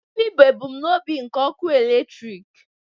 Gịnị bụ ebumnobi nke ọkụ eletrik?